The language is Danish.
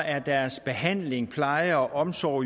er deres behandling pleje og omsorg